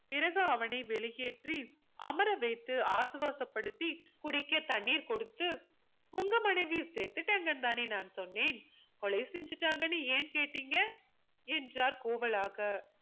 பிறகு அவனை வெளியேற்றி அமர வைத்து ஆசுவாசப்படுத்தி குடிக்க தண்ணீர் கொடுத்து உங்க மனைவி செத்துட்டாங்கனு தானே நான் சொன்னேன் கொலை செஞ்சுட்டாங்கன்னு ஏன் கேட்டிங்க என்றார் கோவலாக